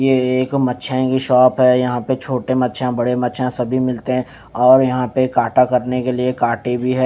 ये एक मछियाँ की शॉप है यहाँ पे छोटे मच्छियाँ बड़े मच्छियाँ सभी मिलते हैं और यहाँ पे काटा करने के लिए कांटे भी हैं।